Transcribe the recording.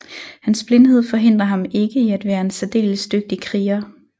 Hans blindhed forhindrer ham ikke i at være en særdeles dygtig kriger